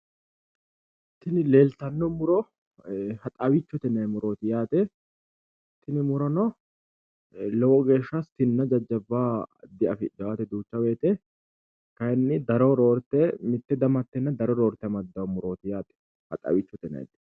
Tini leellittano muro haxawichote yinannite roore anga darro amadanote